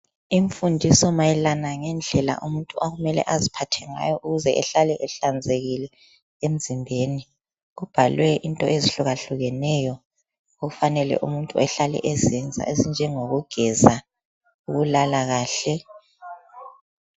Imfundiso mayelana ngendlela umuntu okumele aziphathe ngayo ukuze ehlale ehlanzekile emzimbeni, kubhalwe into ezihluka hlukeneyo okufanele umuntu ehlale ezenza azinjengo kugeza, ukulala kahle.